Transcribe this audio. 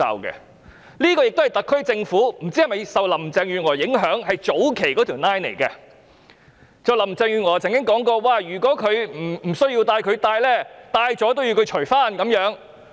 不知道這是否特區政府受林鄭月娥早期的建議所影響，因為林鄭月娥曾說過，如果同事不需要戴口罩而戴上，即使戴上了也要脫下來。